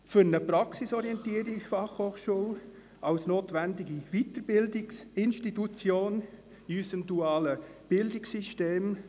Es geht um eine praxisorientierte Fachhochschule als notwendige Weiterbildungsinstitution in unserem dualen Bildungssystem.